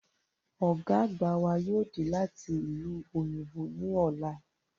Ọ̀gá àgbà wa yóò dé láti ìlú òyìnbó ní ọ̀la